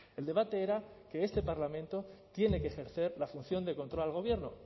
el debate era que este parlamento tiene que ejercer la función de control al gobierno